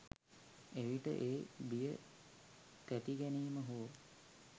එවිට ඒ බිය තැතිගැනීම හෝ